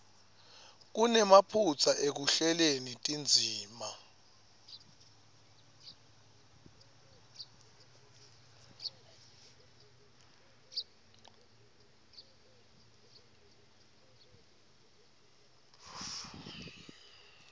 kunemaphutsa ekuhleleni tindzima